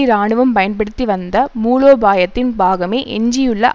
இராணுவம் பயன்படுத்தி வந்த மூலோபாயத்தின் பாகமே எஞ்சியுள்ள